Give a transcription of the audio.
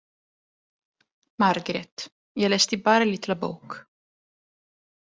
Margrét: Ég lesti bara í litla bók.